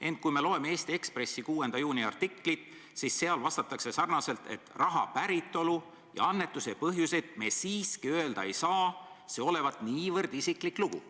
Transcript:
Ent kui me loeme Eesti Ekspressi 6. juuni artiklit, siis seal vastatakse sarnaselt, et raha päritolu ja annetuse põhjuseid me siiski öelda ei saa – see olevat niivõrd isiklik lugu.